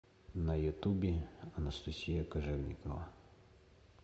на ютубе анастасия кожевникова